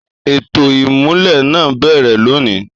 Ètò ìmulẹ̀ náà ń bẹ̀rẹ̀ lónìí.